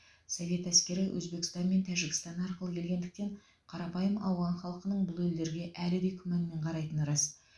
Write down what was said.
совет әскері өзбекстан мен тәжікстан арқылы кіргендіктен қарапайым ауған халқының бұл елдерге әлі де күмәнмен қарайтыны рас